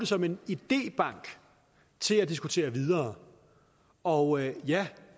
som en idébank til at diskutere videre og ja